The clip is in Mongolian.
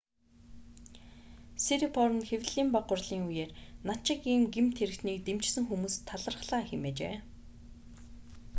сирипорн хэвлэлийн бага хурлын үеэр над шиг ийм гэмт хэрэгтнийг дэмжсэн хүмүүст талархлаа хэмээжээ